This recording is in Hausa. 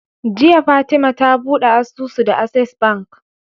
Jiya fatema ta buɗe asusu da access bank